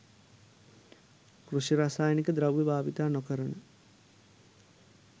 කෘෂි රසායනික ද්‍රව්‍ය භාවිත නොකරන